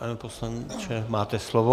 Pane poslanče, máte slovo.